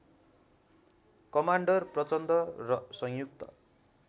commander Prachanda र संयुक्त